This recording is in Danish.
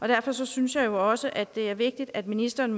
derfor synes synes jeg også det er vigtigt at ministeren